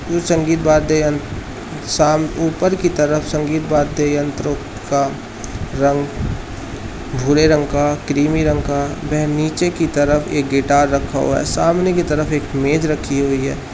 कुछ संगीत वाद्य यंत्र शाम ऊपर की तरफ संगीत वाद्य यंत्रों का रंग भुरे रंग का क्रिमी रंग का वह नीचे की तरफ एक गिटार रखा हुआ है सामने की तरफ एक मेज रखी हुई है।